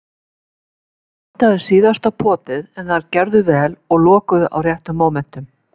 Það vantaði síðasta potið, en þær gerðu vel og lokuðu á réttum mómentum.